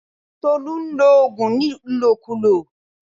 Tolú nlo ògùn ní ìlòkulò